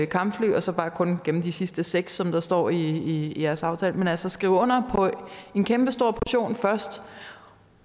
kampfly og så kun gemme de sidste seks som der står i jeres aftale men altså skrive under på en kæmpestor portion først